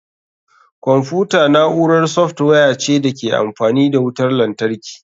Kwamfuta na'urar software ce da ke amfani da wutar lantarki.